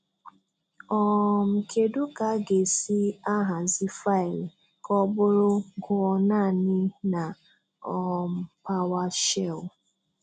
um Kedụ ka aga-esi ahazi faịlụ ka ọ bụrụ "Gụọ naanị" na um Powershell?